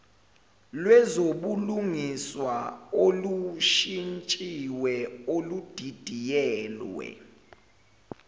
lwezobulungiswa olushintshiwe oludidiyelwe